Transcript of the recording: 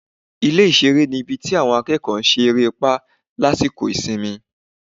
ilé ìsere ní ibí tí awọn akeko se erépa lasiko isimí